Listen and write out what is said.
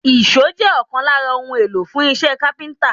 Èṣó jẹ́ ọ̀kan lára ohun èlò fún iṣẹ́ káfíńtà